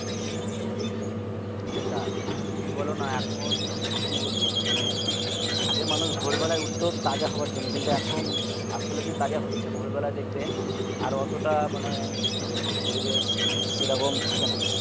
সেটাই তুমি বলো না এখন কি বলবো মানে আগে মানুষ ভোরবেলা উঠতো তাজা হওয়ার জন্য আর এখন আসলে কি তাজা হচ্ছে ভোর বেলায় দেখবে আর অতটা মানে কি বলবো পরিবেশ মানে সেরকম থাকেনা